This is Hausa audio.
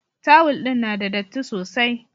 Tawul din na da datti sosai.